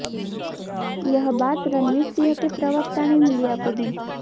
यह बात रणवीर सिंह के प्रवक्ता ने मीडिया को दी